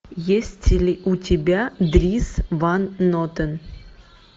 есть ли у тебя дрис ван нотен